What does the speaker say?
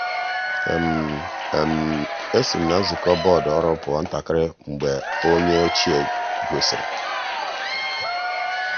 e si m na nzukọ bọọdụ ọrụ pụọ ntakịrị mgbe enyi ochie gosiri.